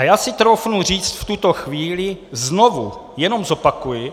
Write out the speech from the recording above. A já si troufnu říct v tuto chvíli, znovu jenom zopakuji,